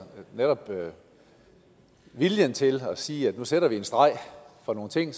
netop viljen til at sige at nu sætter vi en streg for nogle ting